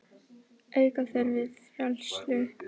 Auka þurfi fræðslu.